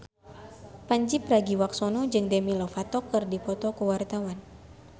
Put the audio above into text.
Pandji Pragiwaksono jeung Demi Lovato keur dipoto ku wartawan